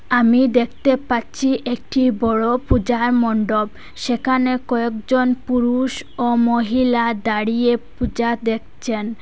আমি দ্যাকতে পাচ্ছি একটি বড়ো পূজা মন্ডপ সেকানে কয়েকজন পুরুষ ও মহিলা দাঁড়িয়ে পূজা দেকচেন ।